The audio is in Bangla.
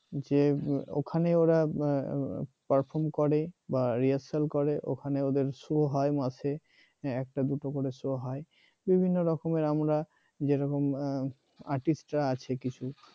যে ওখানে ওরা perform করে বা rehearsal করে ওখানে ওদের শো হয় মাসে হ্যাঁ একটা দুটো করে শো হয় বিভিন্ন রকমের আমরা যেরকম artist রা আছে কিছু